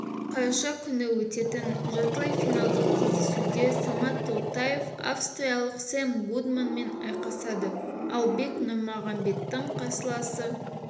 қараша күні өтетін жартылай финалдық кездесуде самат толтаев австралиялық сэм гудманмен айқасады ал бек нұрмағамбеттің қарсыласы